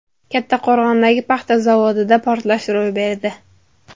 Kattaqo‘rg‘ondagi paxta zavodida portlash ro‘y berdi.